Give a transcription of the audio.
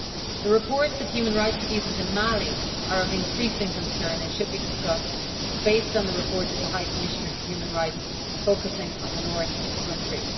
The reports of human rights abuses in Mali are of increasing concern and should be discussed, based on the report of the High Commissioner for Human Rights, which focuses on the North of the country.